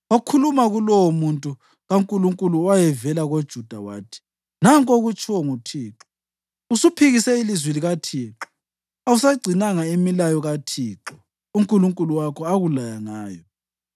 Wakhuluma kulowomuntu kaNkulunkulu owayevela koJuda wathi, “Nanku okutshiwo nguThixo: ‘Usuphikise ilizwi likaThixo awusagcinanga imilayo kaThixo uNkulunkulu wakho akulaya ngayo.